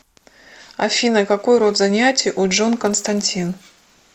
афина какой род занятий у джон константин